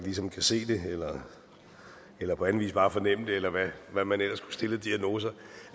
ligesom kan se det eller på anden vis bare fornemme det eller hvad man ellers kunne stille